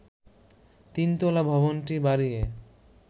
তিন তলা ভবনটি বাড়িয়ে